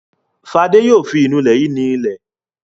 Fadé yóò fi ìnulẹ̀ yìí ni ilẹ̀.